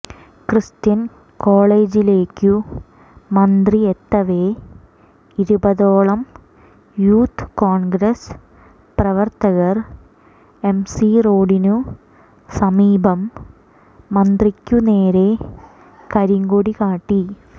Christian കോളജിലേക്കു മന്ത്രി എത്തവേ ഇരുപതോളം യൂത്ത് കോൺഗ്രസ് പ്രവർത്തകർ എംസി റോഡിനു സമീപം മന്ത്രിക്കു നേരെ കരിങ്കൊടി കാട്ടി